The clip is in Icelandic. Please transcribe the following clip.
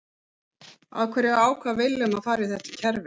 Af hverju ákvað Willum að fara í það kerfi?